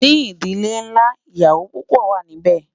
ní ìdílé nlá, ìyàwó púpò wà nì bé